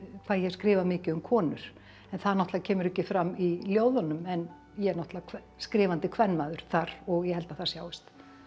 hvað ég hef skrifað mikið um konur en það náttúrulega kemur ekki fram í ljóðunum en ég er náttúrulega skrifandi kvenmaður þar og ég held að það sjáist